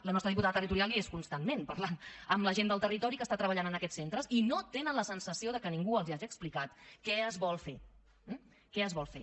la nostra diputada territorial hi és constantment parlant amb la gent del territori que treballa en aquests centres i no tenen la sensació que ningú els hagi explicat què es vol fer eh què es vol fer